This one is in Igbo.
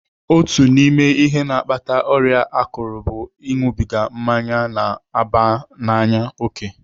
Otu n'ime ihe na-akpata ọrịa akụrụ bụ ịṅụbiga mmanya na-aba n'anya òkè.